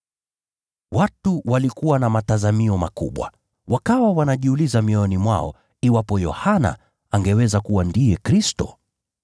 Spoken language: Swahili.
Watu walikuwa na matazamio makubwa. Wakawa wanajiuliza mioyoni mwao iwapo Yohana angeweza kuwa ndiye Kristo.